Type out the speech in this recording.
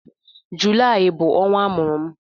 Julaị bụ ọnwa amụrụ m